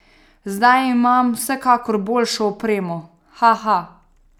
Zdaj imam vsekakor boljšo opremo, haha !